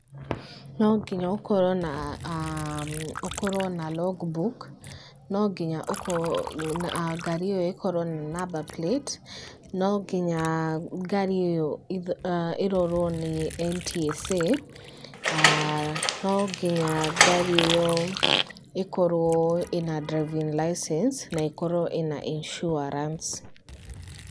No nginya ũkorwo na Logbook, no nginya ũkorwo, ngari ĩyo ĩkorwo na number plate, no nginya ngari ĩyo ĩrorwo nĩ NTSA, aah no nginya ngari ĩyo ĩkorwo ĩna driving license, na ĩkorwo ina insurance.